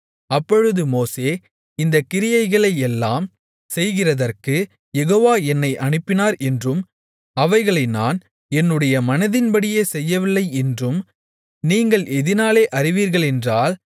அப்பொழுது மோசே இந்தக் கிரியைகளையெல்லாம் செய்கிறதற்குக் யெகோவா என்னை அனுப்பினார் என்றும் அவைகளை நான் என்னுடைய மனதின்படியே செய்யவில்லை என்றும் நீங்கள் எதினாலே அறிவீர்களென்றால்